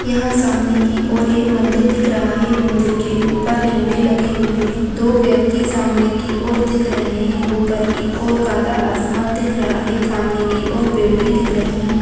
यहाँ सामने की और एक मंदिर दिख रहा है मंदिर के ऊपर झंडे लगे हुए हैं दो व्यक्ति सामने की और दिख रहे हैं ऊपर की ओर काला आसमान दिख रहा है सामने की ओर पेड़ भी दिख रहे है।